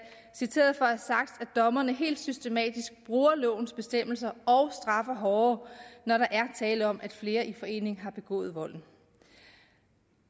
citeret for at dommerne helt systematisk bruger lovens bestemmelser og straffer hårdere når der er tale om at flere i forening har begået volden